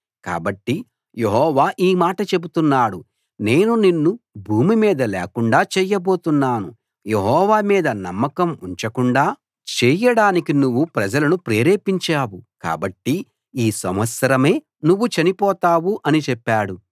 కాబట్టి యెహోవా ఈ మాట చెబుతున్నాడు నేను నిన్ను భూమి మీద లేకుండా చేయబోతున్నాను యెహోవా మీద నమ్మకం ఉంచకుండా చేయడానికి నువ్వు ప్రజలను ప్రేరేపించావు కాబట్టి ఈ సంవత్సరమే నువ్వు చనిపోతావు అని చెప్పాడు